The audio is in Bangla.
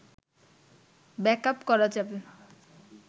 ব্যাকআপ করা যাবে